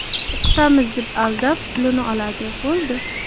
O‘qitamiz deb aldab, pulini oladi, bo‘ldi.